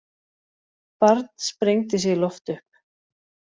Barn sprengdi sig í loft upp